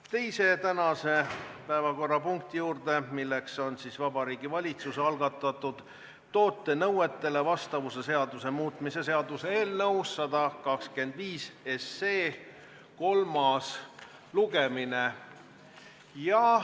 Läheme tänase teise päevakorrapunkti juurde, Vabariigi Valitsuse algatatud toote nõuetele vastavuse seaduse muutmise seaduse eelnõu 125 kolmas lugemine.